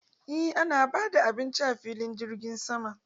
Eh ana bada abinci a filin jirgin sama.